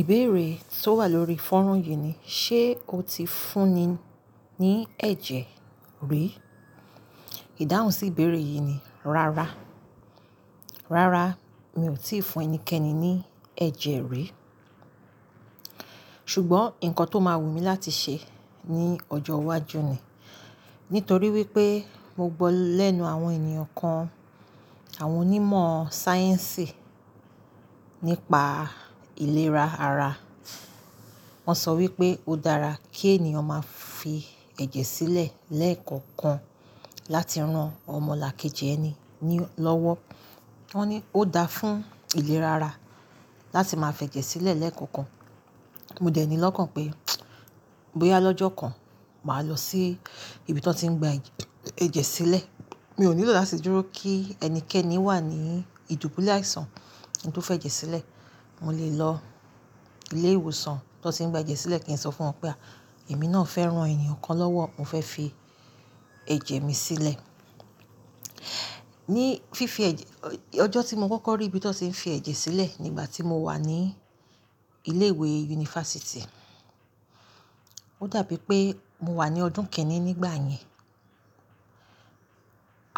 Ìbéèrè tó wà lórí fọ́nran yìí ni, ṣe o ti fúnni ní ẹ̀jẹ̀ rí? Ìdáhùn sí ìbéèrè yìí ni, rárá. Rárá, mi ò tíì fún ẹnikẹ́ni ní ẹ̀jẹ̀ rí. Ṣùgbọ́n nǹkan tó máa wù mí láti ṣe ní ọjọ́ iwájú ni, nítorí wípé mo gbọ́ lẹ́nu àwọn ènìyàn kan, àwọn onímọ̀ sáyẹ́ǹsì nípa ìlera ara. Wọn sọ wípé ó dára kí ènìyàn máa fi ẹ̀jẹ̀ sílẹ̀ lẹ́ẹ̀kọ̀kan láti ran ọmọlàkejì ẹni nílọ́wọ́. Wọ́n ní ó dáa fún ìlera ara láti máa fẹ́jẹ̀ sílẹ̀ lẹ́ẹ̀kọ̀kan. Mo dẹ̀ ní lọ́kàn pé, bóyá lọ́jọ́ kan màá lọ sí ibi tí wọ́n ti ń gba ẹ̀jẹ̀ sílẹ̀. Mi ò nílò láti dúró kí ẹnikẹ́ni wà ní ìdúbúlẹ̀ àìsàn kí n tó fẹ́ jẹ̀ sílẹ̀. Mo lè lọ ilé ìwòsàn tí wọ́n tì ń gba ẹ̀jẹ̀ sílẹ̀ kí n sọ fún wọn pé, à, èmi náà fẹ́ ran ènìyàn kan lọ́wọ́, mo fẹ́ fi ẹ̀jẹ̀ mi sílẹ̀. Ní fífi ẹ̀jẹ-- ọjọ́ tí mo kọ́kọ́ rí ibi tí wọ́n ti ń fi ẹ̀jẹ̀ sílẹ̀ nígbà tí mo wà ní ilé ìwé yunifásítì. Ó dàbí pé mo wà ní ọdún kẹ́rin nígbà yẹn.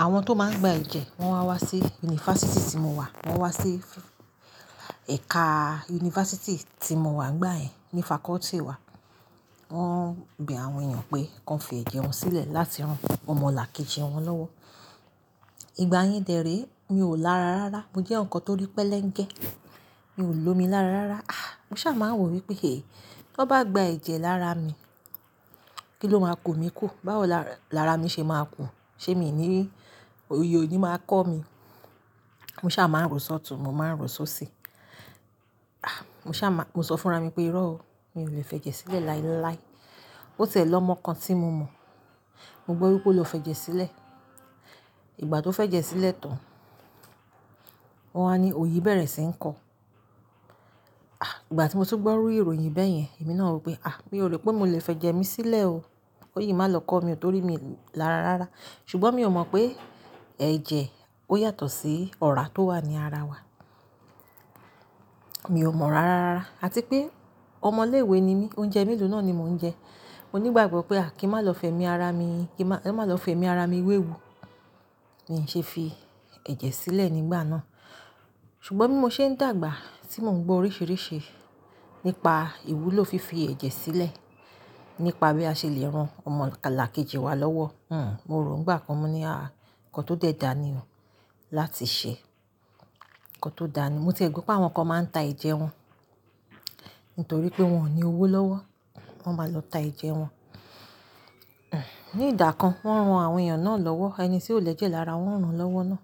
Àwọn tó máa ń gba ẹ̀jẹ̀, wọ́n wá wá sí yunifásítì tí mo wà. Wọ́n wá sí ẹ̀ka yunifásítì tí mo wà n'gbàyẹn, ní faculty wa. Wọ́n ń bí àwọn ènìyàn pé kí wọ́n fi ẹ̀jẹ̀ wọn sílẹ̀ láti ran ọmọlàkejì wọn lọ́wọ́. Ìgbà yẹn dè réé, mi ò lára rárá. Mo jẹ́ eyaǹkan tó rí pẹ́lẹ́ńgẹ. Mi ò lòmi lára rárá. Ah! Mo sá máa ń wò wípé è, tí wọ́n bá gba ẹ̀jẹ̀ lára mi, kí ló máa ku mi kú? Báwo lára mi ṣe máa ku? Ṣé mi ní ri oyì o ni máa kọ́ mi? Mo sá máa ń rò s'ọ̀tún, mo máa ń rò s'ọ̀síi. Mo sáà máan. Mo so fúnra mii pé "iró o, mi ò lè f'èjè sílè láéláé. Ó tiẹ́ l"ọmọ kan tí mo mọ̀, mo gbọ́ wípé ó lọ fẹ́ jẹ̀ sílẹ̀. Ìgbà tó f'ẹ́jẹ̀ sílẹ̀ tán, wọ́n wá ni òòyì bẹ̀rẹ̀ sí ń kọ́ ọ. Îgbà tí mo tún gbó irú ìròyìn béyen, èmi náà ròó pé, a, mi ò rò pé molè f'èjè mi sílè o. Kóyì máa lọ kọ́ mi torí mi lára rárá. Ṣùgbọ́n mi ò mọ̀ pé ẹ̀jẹ̀ ó yàtọ̀ sí ọra tó wà ní ara wa. Mi ò mọ̀ rárá. Àti pé ọmọ ilé ìwé ni mí, oúnjẹ melo náà ni mò ń jẹ. Mo nigbagbob pe a, kin ma lo femi ara mi wewu. Nì í ṣe fi ẹ̀jẹ̀ sílẹ̀ nígbà náà. Ṣùgbọ́n bí mo ṣe ń dàgbà, tí mò ń gbọ́ oríṣìíríṣìí nípa ìwúlò fífi ẹ̀jẹ̀ sílẹ̀, nípa bí a ṣe lè ran ọmọlàkejì wa lọ́wọ́. Hmm. Mo rò ó nígbà kan, mo ní, à, nǹkan tó dẹ̀ dà ni o láti ṣe. Nǹkan tó dà ni. Mo tie gbo pé àwọn kan máa ń ta ẹ̀jẹ̀ wọn nítorí pé wọn ò ní owó lọ́wọ́. Wọn máa lọ ta ẹ̀jẹ̀ wọn. Hmm. Ní ìdà kan, wọ́n ran àwọn ènìyàn náà lọ́wọ́, ẹni tí ó lè jẹ́ lára wọn rán wọn lọ́wọ́ náà.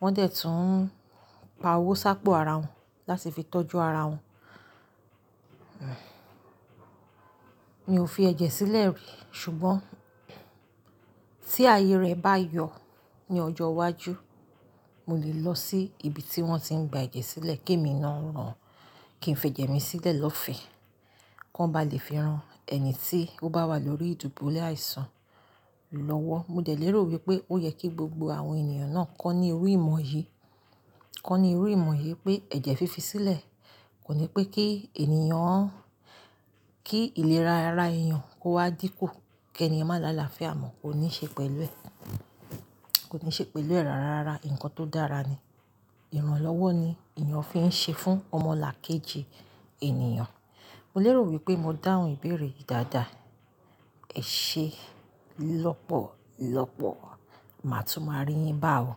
Wọ́n dẹ̀ tún pa owó sápọ̀ ara wọn láti fi tọ́jú ara wọn. Hmm. Mi ò fi ẹ̀jẹ̀ sílẹ̀ rí, ṣùgbọ́n tí àyè rẹ̀ bá yọ ní ọjọ́ iwájú, mo lè lọ sí ibi tí wọ́n ti ń gba ẹ̀jẹ̀ sílẹ̀ kí èmi náà rán, kí n fẹ́ jẹ̀ mí sílẹ̀ lọ́fẹ̀ẹ́. Kí wọ́n bá lè fi ran ẹni tí ó bá wà lórí ìdúbúlẹ̀ àìsàn lọ́wọ́. Mo dè lèrò wípé ó yẹ kí gbogbo àwọn ènìyàn náà kọ́ni irú ìmọ̀ yìí. Kọ́ni irú ìmọ̀ yìí pé ẹ̀jẹ̀ fífi sílẹ̀ kò ní pé kí ènìyàn, kí ìlera ara ènìyàn kó wá dínkù kí ènìyàn má làálàá fẹ́ àmọ̀. Kò ní ṣe pẹ̀lú ẹ̀. Kò ní ṣe pẹ̀lú ẹ̀ rárá. Nǹkan tó dára ni. Ìránlọ́wọ́ ni ènìyàn fi ń ṣe fún ọmọlàkejì ènìyàn. Mo lèrò wípé mo dáhùn ìbéèrè yìí dáadáa. E sé lópòlopò. Màá tún máa rí yín bá o.